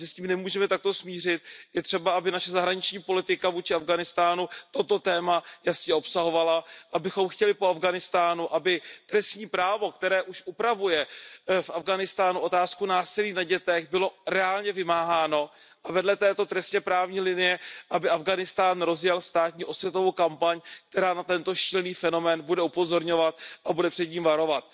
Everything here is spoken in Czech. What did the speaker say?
My se s tím nemůžeme takto smířit, je třeba, aby naše zahraniční politika vůči Afghánistánu toto téma jasně obsahovala, abychom chtěli po Afghánistánu, aby trestní právo, které už upravuje v Afghánistánu otázku násilí na dětech, bylo reálně vymáháno a vedle této trestněprávní linie, aby Afghánistán rozjel státní osvětovou kampaň, která na tento šílený fenomén bude upozorňovat a bude před ním varovat.